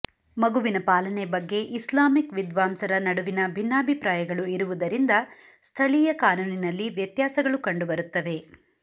ಮಗುವಿನ ಪಾಲನೆ ಬಗ್ಗೆ ಇಸ್ಲಾಮಿಕ್ ವಿದ್ವಾಂಸರ ನಡುವಿನ ಭಿನ್ನಾಭಿಪ್ರಾಯಗಳು ಇರುವುದರಿಂದ ಸ್ಥಳೀಯ ಕಾನೂನಿನಲ್ಲಿ ವ್ಯತ್ಯಾಸಗಳು ಕಂಡುಬರುತ್ತವೆ